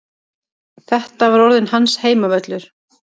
Þetta var orðinn hans heimavöllur.